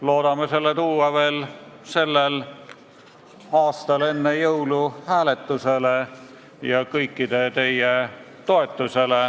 Loodame tuua selle eelnõu veel tänavu enne jõule hääletusele ja saada kõikide teie toetuse.